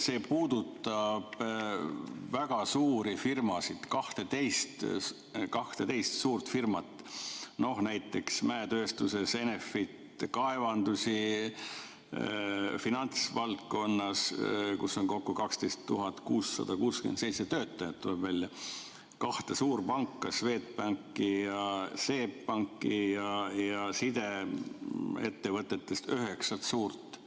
See puudutab väga suuri firmasid, 12 suurt firmat, näiteks mäetööstuses Enefit Kaevandusi, finantsvaldkonnas, kus on kokku 12 667 töötajat, tuleb välja, kahte suurpanka, Swedbanki ja SEB Panka, ja sideettevõtetest üheksat suurt.